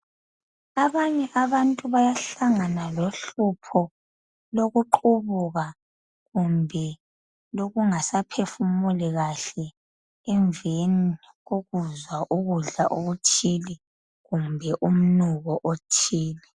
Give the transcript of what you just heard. Abanye abantu bayahlangana lohlupho lokuqubuka kumbe lokungasaphefumuli kahle emveni kokuzwa ukudla okuthile kumbe umnuko othile.